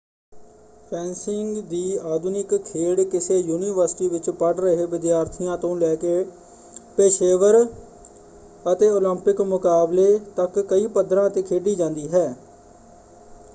Fencing ਦੀ ਆਧੁਨਿਕ ਖੇਡ ਕਿਸੇ ਯੂਨੀਵਰਸਿਟੀ ਵਿੱਚ ਪੜ੍ਹ ਰਹੇ ਵਿਦਿਆਰਥੀਆਂ ਤੋਂ ਲੈਕੇ ਪੇਸ਼ੇਵਰ ਅਤੇ ਓਲੰਪਿਕ ਮੁਕਾਬਲੇ ਤੱਕ ਕਈ ਪੱਧਰਾਂ 'ਤੇ ਖੇਡੀ ਜਾਂਦੀ ਹੈ।